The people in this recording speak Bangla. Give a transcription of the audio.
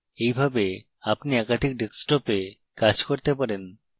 এইভাবে আপনি একাধিক ডেস্কটপে কাজ করতে পারেন